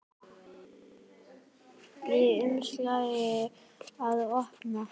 Í umslagi að opna.